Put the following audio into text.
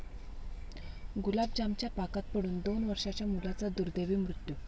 गुलाबजामच्या पाकात पडून दोन वर्षांच्या मुलाचा दुर्दैवी मृत्यू